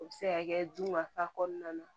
O bɛ se ka kɛ du ma fa kɔnɔna na